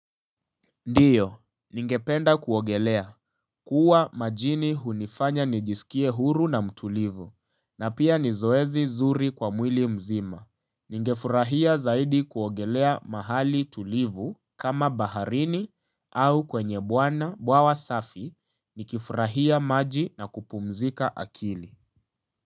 Ndio, ningependa kuogelea, kuwa majini hunifanya nijisikie huru na mtulivu, na pia ni zoezi zuri kwa mwili mzima. Ningefurahia zaidi kuogelea mahali tulivu, kama baharini au kwenye bwana bwawa safi, nikifurahia maji na kupumzika akili.